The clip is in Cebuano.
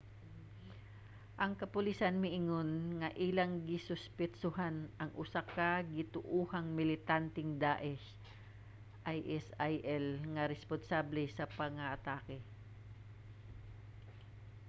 ang kapolisan miingon nga ilang gisuspetsohan ang usa ka gituohang militanteng daesh isil nga responsable sa pagpangatake